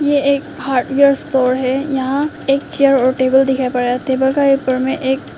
ये एक hardware store है यहां एक चेयर और टेबल दिखाएं टेबल का ऊपर में एक--